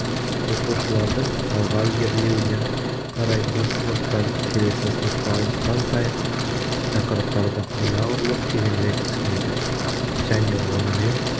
оқушылардың алға ілгерілеуіне қарай бір сыныптан келесі сыныпқа ауысқан сайын тақырыптарды анағұрлым тереңірек түсінеді және онымен